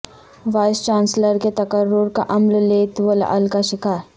voice chancellors کے تقرر کا عمل لیت و لعل کا شکار